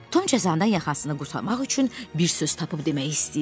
Tom cəzadan yaxasını qurtarmaq üçün bir söz tapıb demək istəyirdi.